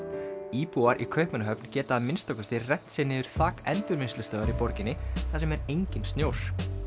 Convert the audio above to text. íbúar í Kaupmannahöfn geta að minnsta kosti rennt sér niður þak endurvinnslustöðvar í borginni þar sem er enginn snjór